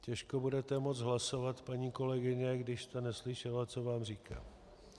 Těžko budete moct hlasovat, paní kolegyně, když jste neslyšela, co vám říkám.